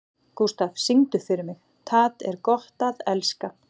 Gústaf, syngdu fyrir mig „Tað er gott at elska“.